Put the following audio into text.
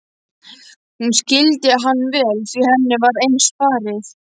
Hún skildi hann vel því henni var eins farið.